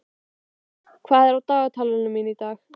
Friðberg, hvað er á dagatalinu mínu í dag?